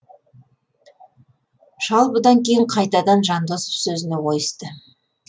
шал бұдан кейін қайтадан жандосов сөзіне ойысты